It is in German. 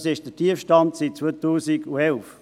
Dies ist der tiefste Stand seit 2011.